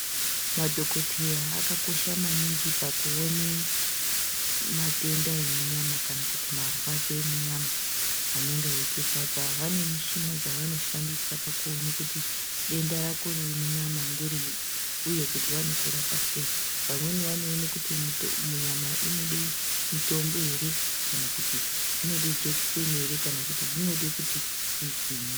Madhokoteya akakosha maningi pakuone matenda emunyama kana kuti marwadzo emunyama anonga eitirwadza. Vane mishina dzavanoshandisa pakuone kuti denda rako riri munyama ngerei uye kuti vanokurapa sei, vamwe vanoone kuti nyama inode mitombo ere kana kuti zvinode jekiseni ere kana kuti zvinode kuti kuzwinyi.